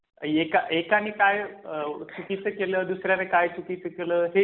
एका एका मी काय चुकीचं केल दुसरे काय चुकीचं केलं आहे हां म्हणजे